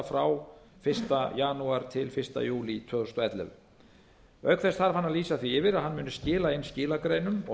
frá fyrsta janúar til fyrsta júlí tvö þúsund og ellefu auk þess þarf hann að lýsa því yfir að hann muni skila inn skilagreinum og